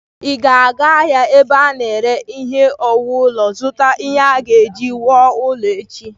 Ị ga-aga ahịa ebe ana ere ihe owuwu ulo, zụta ihe a ga-eji wuo ụlọ echi.